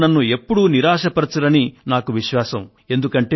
మీరు నన్ను ఎప్పుడూ నిరాశపరచరని నాకు నమ్మకం ఉంది